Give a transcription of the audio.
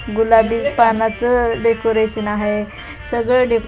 गुलाबी पानाचं डेकोरेशन आहे सगळं डेको --